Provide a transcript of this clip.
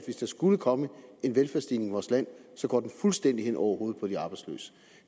hvis der skulle komme en velfærdsstigning i vores land så går den fuldstændig hen over hovedet på de arbejdsløse